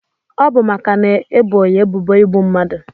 Ọbu maka na ebo ya ebubo igbu mmadu.